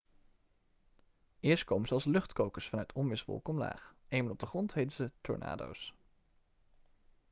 eerst komen ze als luchtkokers vanuit onweerswolken omlaag eenmaal op de grond heten ze tornado's'